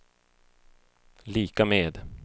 lika med